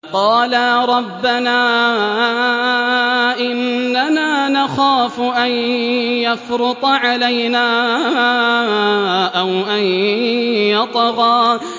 قَالَا رَبَّنَا إِنَّنَا نَخَافُ أَن يَفْرُطَ عَلَيْنَا أَوْ أَن يَطْغَىٰ